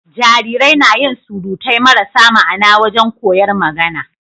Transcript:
Jarirai nayin surutai marasa ma'Ana wajan koyar magAna